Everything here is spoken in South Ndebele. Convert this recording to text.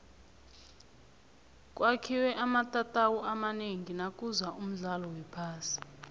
kwakhiwe amatatawu amanengi nakuza umdlalo wephasi